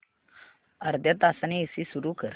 अर्ध्या तासाने एसी सुरू कर